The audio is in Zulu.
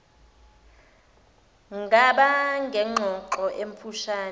ngaba nengxoxo emfushne